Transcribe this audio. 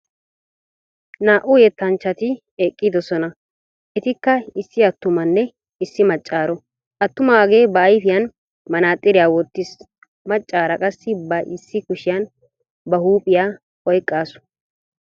Naa"u yettanchchati eqqidosona, atikka issi attumanne issi maccaaro. Attumaagee ba ayfiyan manaxxirita wottiis. Maccaara qassi ba issi kushiyan ba huuphphiya oyqaasu.